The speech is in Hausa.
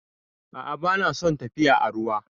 A'a, ba na son tafiya a ruwa.